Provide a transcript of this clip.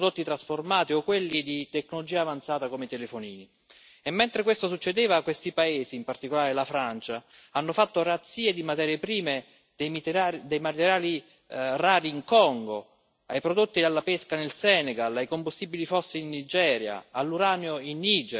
Mentre questo succedeva, questi paesi, in particolare la Francia, hanno fatto razzia di materie prime, dai materiali rari in Congo ai prodotti della pesca nel Senegal, ai combustibili fossi in Nigeria, all'uranio in Niger, ai diamanti insanguinati in Serra Leone e al cacao in Costa d'Avorio.